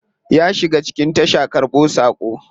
Ya shiga cikin tasha karbo sako.